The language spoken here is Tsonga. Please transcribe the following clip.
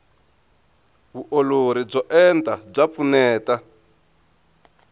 vuolori byo enta bya pfuneta